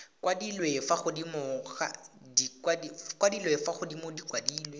kwadilwe fa godimo di kwadilwe